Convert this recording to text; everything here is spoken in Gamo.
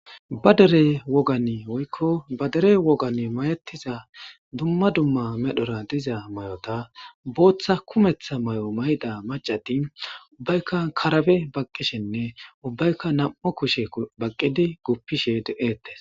Ba derey wogani woykko badere wogan mayettiza dumma dumma medhora diza may7ota booththa kumeththa may7o mayda macattin ubbaykka karabe baqqishenne ubbaykka nam7u kushe baqqidi guppishe de7ettes